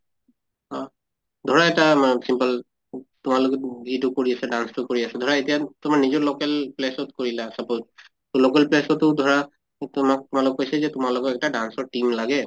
অ ধৰা এটা simple তোমালোকে যিটো কৰি আছা dance টো কৰি আছা ধৰা এতিয়া তোমাৰ নিজৰ local place ত কৰিলা suppose, তʼ local place টো ধৰা উ তোমাক কৈছে যে তোমালোকৰ একটা dance ৰ team লাগে